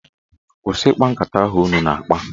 Kwụsị nkata ahụ ụnụ na-akpa!